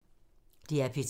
DR P3